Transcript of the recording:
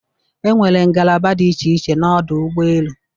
Enwere ngalaba dị iche iche n'ọdụ ụgbọ elu.